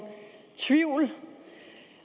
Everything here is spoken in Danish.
tvivl